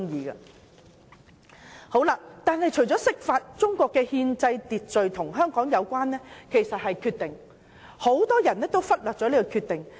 然而，除了釋法外，中國的憲制秩序中另一項與香港人有關的是"決定"，而很多人也忽略了這些決定。